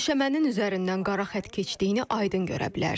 Döşəmənin üzərindən qara xətt keçdiyini aydın görə bilərsiniz.